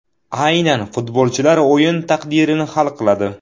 Aynan futbolchilar o‘yin taqdirini hal qiladi.